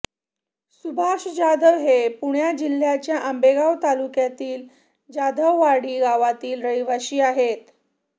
सुभाष जाधव हे पुणे जिल्ह्याच्या आंबेगाव तालुक्यातील जाधववाडी गावातील रहिवाशी आहेत